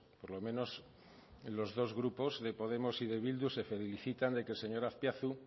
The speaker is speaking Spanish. por lo menos en los dos grupos de podemos y de bildu se felicitan de que el señor azpiazu